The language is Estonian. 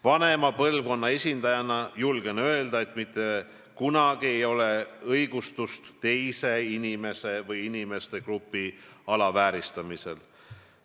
Vanema põlvkonna esindajana julgen öelda, et mitte kunagi ei ole õigustust teise inimese või inimeste grupi alavääristamisel.